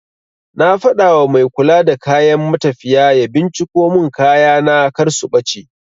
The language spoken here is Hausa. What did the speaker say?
Na faɗawa mai kula da kayan matafiya ya binciko mun kayana kar su ɓace